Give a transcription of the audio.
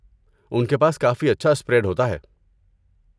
ان کے پاس کافی اچھا اسپریڈ ہوتا ہے۔